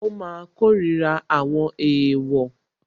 Ó máa kórira àwọn èèwọ̀